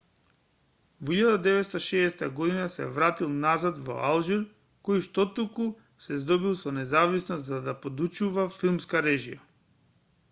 во 1960 година се вратил назад во алжир кој штотуку се здобил со независност за да подучува филмска режија